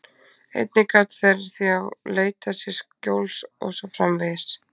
Einnig gátu þær þá leitað sér skjóls og svo framvegis.